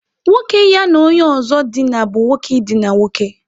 Nwoke ya na onye ozo dina bu nwoke idina nwoke.